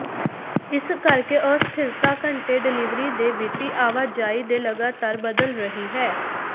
ਇਸ ਕਰਕੇ ਅਸਥਿਰਤਾ ਘੰਟੇ ਡਿਲਿਵਰੀ ਦੇ ਵਿੱਤੀ ਆਵਾਜਾਈ ਦੇ ਲਗਾਤਾਰ ਬਦਲ ਰਹੀ ਹੈ